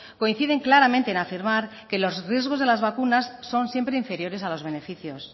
coinciden claramente en afirmar que los riesgos de las vacunas son siempre inferiores a los beneficios